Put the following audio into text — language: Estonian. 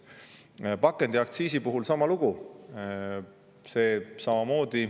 Pakendiaktsiisi puhul sama lugu.